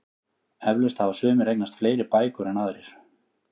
Eflaust hafa sumir eignast fleiri bækur en aðrir.